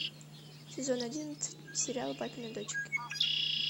сезон одиннадцать сериал папины дочки